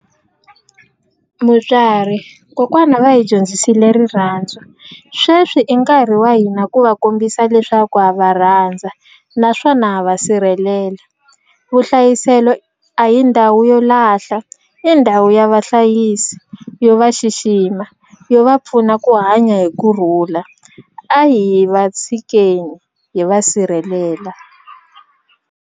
Mutswari kokwana va hi dyondzisile rirhandzu sweswi i nkarhi wa hina ku va kombisa leswaku ha va rhandza naswona ha va sirhelela vuhlayiselo a hi ndhawu yo lahla i ndhawu ya vahlayisi yo va xixima yo va pfuna ku hanya hi kurhula a hi va tshikeni hi va sirhelela.